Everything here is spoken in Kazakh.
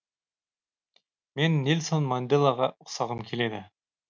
мен нельсон манделаға ұқсағым келеді